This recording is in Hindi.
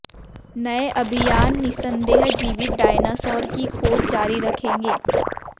नए अभियान निस्संदेह जीवित डायनासोर की खोज जारी रखेंगे